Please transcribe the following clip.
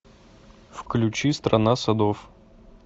включи страна садов